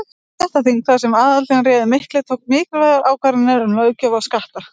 Stéttaþing, þar sem aðallinn réði miklu, tóku mikilvægar ákvarðanir um löggjöf og skatta.